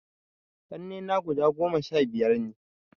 Ƙannena guda goma sha biyar ne